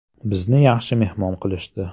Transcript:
Bizni yaxshi mehmon qilishdi.